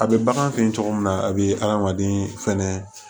A bɛ bagan fe yen cogo min na a bɛ adamaden fɛnɛ